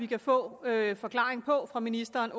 kan få en forklaring fra ministeren